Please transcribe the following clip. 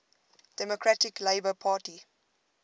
democratic labour party